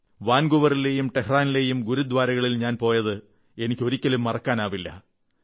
വാൻകൂവറിലെയും ടെഹ്റാനിലെയും ഗുരുദ്വാരകളിൽ ഞാൻ പോയത് എനിക്ക് ഒരിക്കലും മറക്കാനാവില്ല